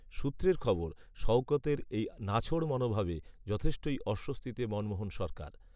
সূত্রের খবর, শওকতের এই নাছোড় মনোভাবে যথেষ্টই অস্বস্তিতে মনমোহন সরকার